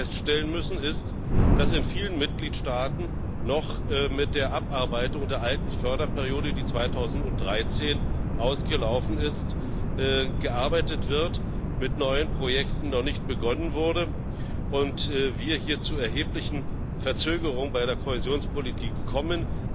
Wir müssen aber feststellen, dass viele Mitgliedstaaten noch mit der Abarbeitung der alten Förderperiode, die 2013 ausgelaufen ist, beschäftigt sind, mit neuen Projekten noch nicht begonnen wurde und wir hier zu erheblichen Verzögerungen bei der Kohäsionspolitik kommen.